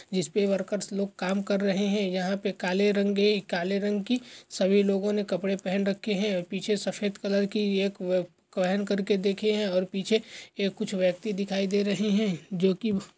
जिसपे वर्कर्स लोग काम कर रहे है यहाँ पे काले रंगे काले रंग की सभी लोगों ने कपड़े पेहन रखे है पीछे सफ़ेद कलर की एक वैन करके देखे है और पीछे ए कुछ व्यक्ति दिखाई दे रहे है जोकि --